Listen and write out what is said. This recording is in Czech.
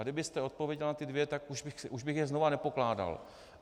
A kdybyste odpověděl na ty dvě, tak už bych je znova nepokládal.